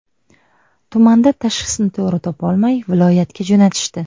Tumanda tashxisni to‘g‘ri topolmay, viloyatga jo‘natishdi.